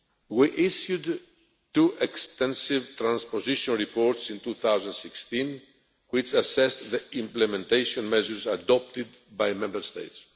We issued two extensive transposition reports in 2016 which assessed the implementation measures adopted by Member States.